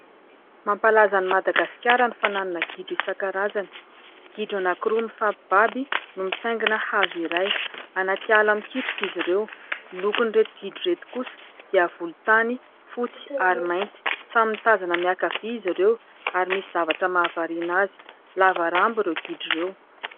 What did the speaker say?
Mampalaza an'i Madagasikara ny fananana gidro isankarazany. Gidro anankiroa mifampibaby no mitaingina hazo iray, anaty ala mikitroka izy ireo. Ny lokon'ireto gidro ireto kosa dia volontany, fotsy ary mainty. Samy mitazana miankavia izy ireo, ary misy zavatra mahavariana azy. Lava rambo ireo gidro ireo.